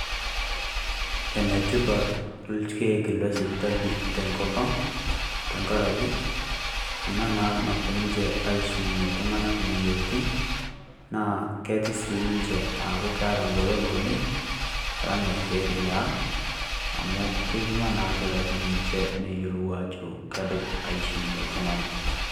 Ene tipat irkiek lesipitali tengopnang' naa tengaraki ena naa naapuo aishunye iltung'anak imoyiaritin, naa ketii sii ninche aaku keeta egolon oleng' alang' orkiek liang' amu keipima naa ilkitarrini neyiolou ajo kedup aishunye oltung'ani.